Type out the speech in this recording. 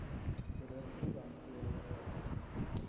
korrupsie hanteer elkeen